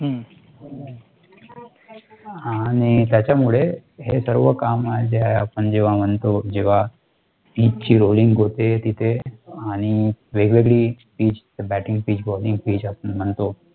आणि, त्याच्यामुळे हे सर्व काम जे आहे आपण जेव्हा म्हणतो जेव्हा pitch ची rolling होते तिथे आणि वेगवेगळी pitch batting pitchballing pitch आपण म्हणतो,